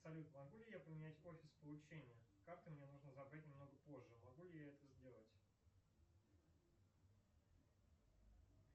салют могу ли я поменять офис получения карты мне нужно забрать немного позже могу ли я это сделать